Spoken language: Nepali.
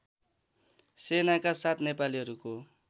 सेनाका साथ नेपालीहरूको